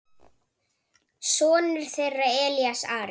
Sonur þeirra er Elías Ari.